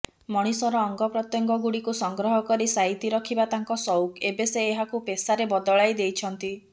ମଣିଷର ଅଙ୍ଗପ୍ରତ୍ୟେଙ୍ଗଗୁଡ଼ିକୁ ସଂଗ୍ରହ କରି ସାଇତି ରଖିବା ତାଙ୍କ ସଉକ ଏବେ ସେ ଏହାକୁ ପେସାରେ ବଦଳାଇ ଦେଇଛନ୍ତି